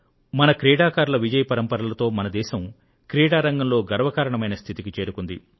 మన క్రీడాకారులు విజయపరంపరలతో మన దేశం క్రీడా రంగంలో గర్వకారణమైన స్థితికి చేరుకుంది